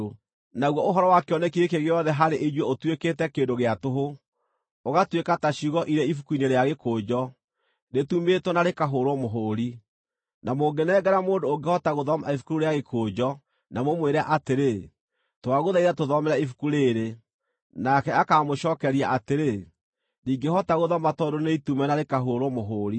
Naguo ũhoro wa kĩoneki gĩkĩ gĩothe harĩ inyuĩ ũtuĩkĩte kĩndũ gĩa tũhũ, ũgatuĩka ta ciugo irĩ ibuku-inĩ rĩa gĩkũnjo, rĩtumĩtwo na rĩkahũũrwo mũhũũri. Na mũngĩnengera mũndũ ũngĩhota gũthoma ibuku rĩu rĩa gĩkũnjo na mũmwĩre atĩrĩ, “Twagũthaitha, tũthomere ibuku rĩĩrĩ,” nake akaamũcookeria atĩrĩ, “Ndingĩhota gũthoma tondũ nĩitume na rĩkahũũrwo mũhũũri.”